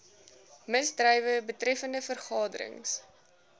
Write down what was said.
misdrywe betreffende vergaderings